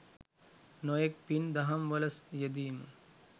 නොයෙක් පින් දහම් වල යෙදීම